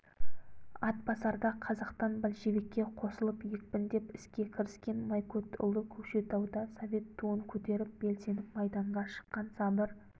атбасарда қазақтан большевикке қосылып екпіндеп іске кіріскен майкөтұлы көкшетауда совет туын көтеріп белсеніп майданға шыққан сабыр